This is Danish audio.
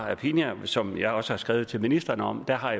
aphinya som jeg også har skrevet til ministeren om har